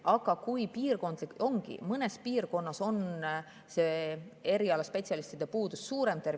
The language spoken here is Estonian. Aga mõnes piirkonnas ongi tervishoius see erialaspetsialistide puudus suurem.